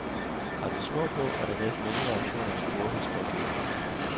Har den snor på, er der næsten ingen reaktion at sporet hos rådyret.